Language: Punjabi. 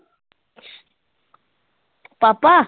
ਪਾਪਾ?